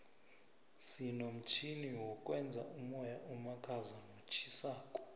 sinomtjhini wokwenza umoya omakhaza notjhisako